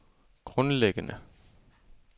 grundlæggende